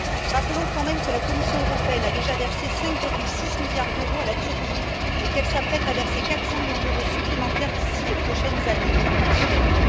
Rappelons quand même que la Commission européenne a déjà versé 5,6 milliards d'euros à la Turquie et qu'elle s'apprête à verser 400 millions d'euros supplémentaires d'ici les prochaines semaines.